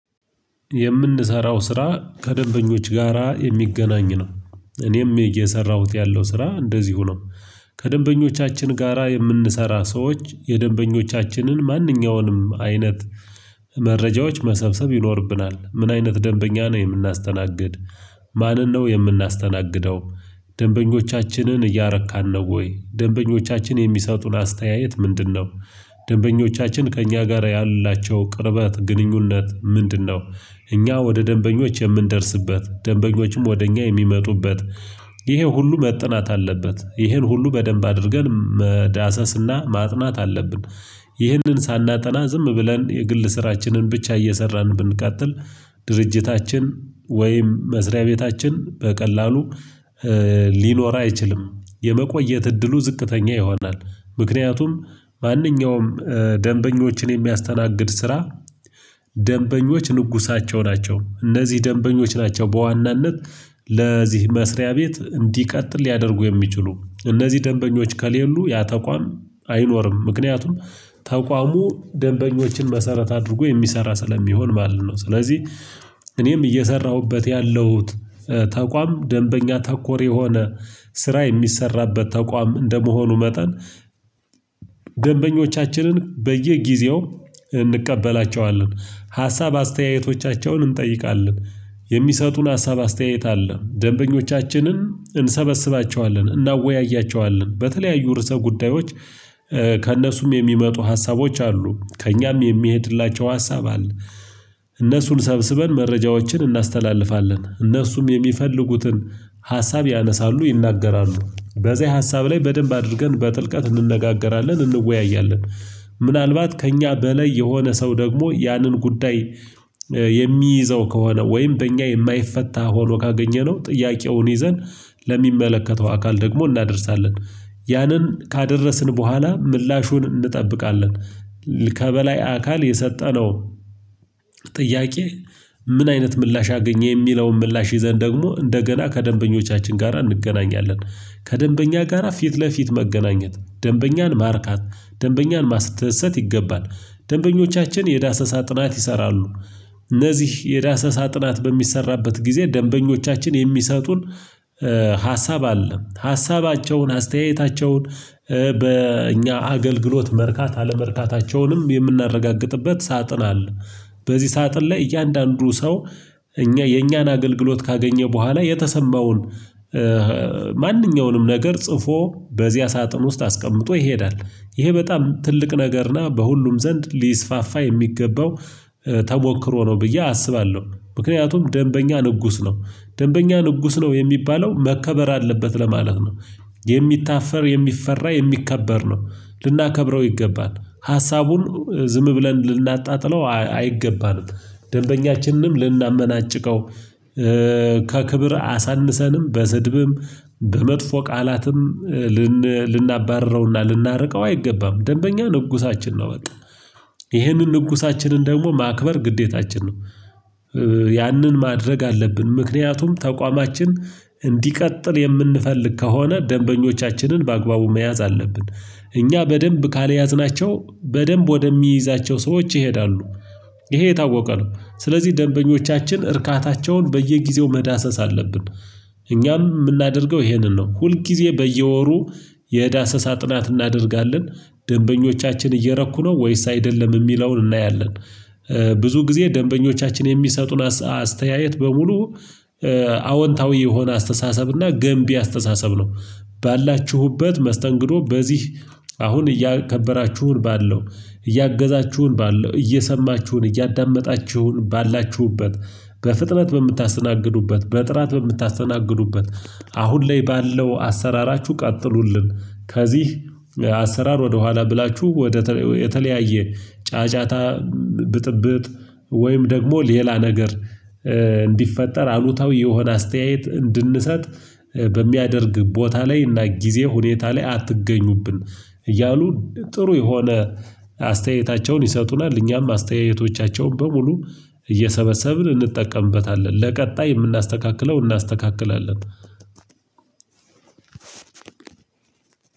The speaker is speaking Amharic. የምንሰራው ስራ ከደንበኞች ጋራ የሚገናኝ ነው እኔም እየሰራሁት ያለው ስራ እንደዚሁ ነው። ከደንበኞቻችን ጋራ የምንሰራ ሰዎች የደንበኞቻችንን ማንኛውንም አይነት መረጃዎች መሰብሰብ ይኖርብናል ምን አይነት ደንበኛ ነው የምናስተናግድ። ማንን ነው የምናስተናግደው? ደንበኞቻችንን እያረካን ነው ወይ ደንበኞቻችን የሚሰጡን አስተያየት ምንድነው? ደንበኞቻችን ከእኛ ጋራ ያላቸው ቅርበት ግንኙነት ምንድነው? እኛ ወደ ደንበኞች የምንደርስበት ደንበኞችም ወደ እኛ የሚመጡበት ይሄ ሁሉ መጠናት አለበት ይሄን ሁሉ በደንብ አድርገን መዳሰስ እና ማጥናት አለብን። ይሄንን ሳናጠና ዝም ብለን የግል ስራችንን ብቻ እየሰራን ብንቀጥል ድርጅታችን ወይም መስሪያ ቤታችን በቀላሉ ሊኖር አይችልም የመቆየት እድሉ ዝቅተኛ ይሆናል። ምክንያቱም ማንኛውም ደንበኞችን የሚያስተናግድ ስራ ደንበኞች ንጉሳቸው ናቸው። እነዚህ ደንበኞች ናቸው በዋናነት ለዚህ መስሪያ ቤት እንዲቀጥል ሊያደርጉ የሚችሉ እነዚህ ደንበኞች ከሌሉ ያ ተቋም አይኖርም። ምክንያቱም ተቋሙ ደንበኞችን መሰረት አድርጎ የሚሰራ ስለሚሆን ማለት ነው። ስለዚህ እኔም እየሰራሁበት ያለሁት ተቋም ደንበኛ ተኮር የሆነ ስራ የሚሰራበት ተቋም እንደመሆኑ መጠን። ደንበኞቻችንን በየጊዜው እንቀበላቸዋለን ሀሳብ አስተያየቶቻቸውን እንጠይቃለን የሚሰጡን ሀሳብ አስተያየት አለ ደንበኞቻችንን እንሰበስባቸዋለን እናወያያቸዋለን በተለያዩ ርዕሰ ጉዳዮች። ከእነሱም የሚመጡ ሀሳቦች አሉ ከእኛም የሚሄድላቸው ሀሳብ አለ። እነሱን ሰብስበን መረጃዎችን እናስተላልፋለን እነሱም የሚፈልጉትን ሀሳብ ያነሳሉ ይናገራሉ በዚህ ሀሳብ ላይ በደንብ አድርገን በጥልቀት እንነጋገራለን እንወያያለን። ምናልባት ከእኛ በላይ የሆነ ሰው ደግሞ ያንን ጉዳይ የሚይዘው ከሆነ ወይም በእኛ የማይፈታ ሆኖ ካገኘነው ጥያቄውን ይዘን ለሚመለከተው አካል ደግሞ እናደርሳለን ያንን ካደረስን በኋላ ምላሹን እንጠብቃለን። ከበላይ አካል የሰጠነው ጥያቄ ምን አይነት ምላሽ አገኘ የሚለውን ምላሽ ይዘን ደግሞ እንደገና ከደንበኞቻችን ጋራ እንገናኛለን። ከደንበኛ ጋራ ፊት ለፊት መገናኘት ደንበኛን ማርካት ደንበኛን ማስደሰት ይገባል ደንበኞቻችን የዳሰሳ ጥናት ይሰራሉ። እነዚህ የዳሰሳ ጥናት በሚሰራበት ጊዜ ደንበኞቻችን የሚሰጡን ሀሳብ አለ ሀሳባቸውን አስተያየታቸውን በእኛ አገልግሎት መርካት አለመርካታቸውንም የምናረጋግጥበት ሳጥን አለ። በዚህ ሳጥን ላይ እያንዳንዱ ሰው እኛ የኛን አገልግሎት ካገኘ በኋላ የተሰማውን ማንኛውንም ነገር ጽፎ በዚያ ሳጥን ውስጥ አስቀምጦ ይሄዳል። ይሄ በጣም ትልቅ ነገር እና በሁሉም ዘንድ ሊስፋፋ የሚገባው ተሞክሮ ነው ብዬ አስባለሁ ምክንያቱም ደንበኛ ንጉስ ነው ደንበኛ ንጉስ ነው የሚባለው መከበር አለበት ለማለት ነው። የሚታፈር የሚፈራ የሚከበር ነው። ልናከብረው ይገባል ሀሳቡን ዝም ብለን ልናጣጥለው አይገባንም። ደንበኛችንንም ልናመናጭቀው ከክብር አሳንሰንም በስድብም በመጥፎ ቃላትም ልን ልናባርረው እና ልናርቀው አይገባም ደንበኛ ንጉሳችን ነው። በቃ ይሄንን ንጉሳችንን ደግሞ ማክበር ግዴታችን ነው። ያንን ማድረግ አለብን ምክንያቱም ተቋማችን እንዲቀጥል የምንፈልግ ከሆነ ደንበኞቻችንን በአግባቡ መያዝ አለብን። እኛ በደንብ ካልያዝናቸው በደንብ ወደሚይዛቸው ሰዎች ይሄዳሉ ይሄ የታወቀ ነው። ስለዚህ ደንበኞቻችን እርካታቸውን በየጊዜው መዳሰስ አለብን። እኛም ምናደርገው ይሄንን ነው ሁልጊዜ በየወሩ የዳሰሳ ጥናት እናደርጋለን። ደንበኞቻችን እየረኩ ነው ወይስ አይደለም እሚለውን እናያለን። ብዙ ጊዜ ደንበኞቻችን የሚሰጡን አስ አስተያየት በሙሉ አወንታዊ የሆነ አስተሳሰብ እና ገንቢ አስተሳሰብ ነው። ባላችሁበት መስተንግዶ በዚህ አሁን እያከበራችሁን ባለው እያገዛችሁን ባለው እየሰማችሁን እያዳመጣችሁን ባላችሁበት በፍጥነት በምታስተናግዱበት በጥራት በምታስተናግዱበት አሁን ላይ ባለው አሰራራችሁ ቀጥሉልን ከዚህ አሰራር ወደኋላ ብላችሁ ወደ ተለ የተለያየ ጫጫታ ብጥብጥ ወይም ደግሞ ሌላ ነገር እንዲፈጠር አሉታዊ የሆነ አስተያየት እንድንሰጥ በሚያደርግ ቦታ ላይ እና ጊዜ ሁኔታ ላይ አትገኙብን እያሉ ጥሩ የሆነ አስተያየታቸውን ይሰጡናል። እኛም አስተያየቶቻቸውን በሙሉ እየሰበሰብን እንጠቀምበታለን ለቀጣይ የምናስተካክለው እናስተካክላለን።